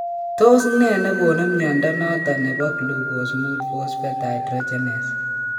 Tos ne negonu mnyondo noton nebo glucose 5 phosphate dehydrogenase